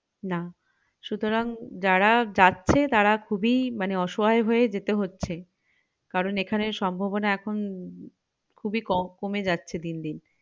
না সুতরাং যারা যাচ্ছে তারা খুবই মানে অসহায় হয়ে যেতে হচ্ছে কারণ এখানে সম্ভাবনা এখন খুবই কম কমে যাচ্ছে দিন দিন